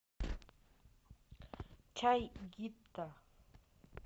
чай гита